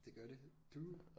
Det gør det du